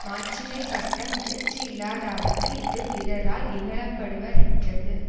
மாட்சிமை பட்ட முயற்சி யில்லாதார்க்கு இது பிறாரால் இகழ படுவ ரென்றது